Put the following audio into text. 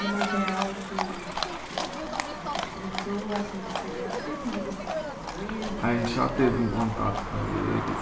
De Montreal que, né que de repente, começou lá a surgir essa ideia, você já teve contato com eles? A gente já teve um contato com eles